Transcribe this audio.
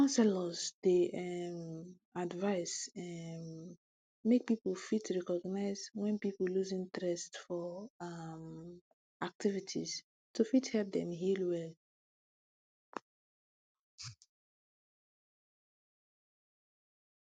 counselors dey um advice um make people fit recognize wen people loose interest for um activities to fit help dem heal well